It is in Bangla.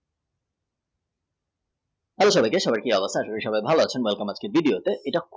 এই অধিবেশনে সবাইকে ভাল আছেন দিব্বি আছেন।